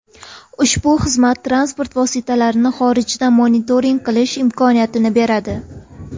Ushbu xizmat transport vositalarini xorijda monitoring qilish imkoniyatini beradi.